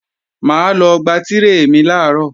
Mà á lọ gba tírè mi làárọ̀